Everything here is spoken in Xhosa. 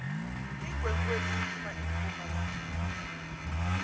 iinkwenkwezi ziphum empumalanga